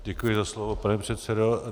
Děkuji za slovo, pane předsedo.